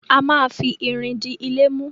A má fi irin di ilé mú.